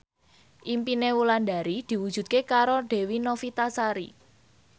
impine Wulandari diwujudke karo Dewi Novitasari